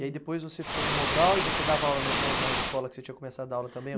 E aí depois você ficou no Mobral e você dava aula na e, na na escola que você tinha começado a dar aula também?